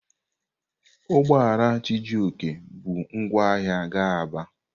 Ugbo ala Chijioke bu ngwa ahia ga Aba.